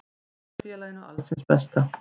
Ég óska félaginu alls hins besta.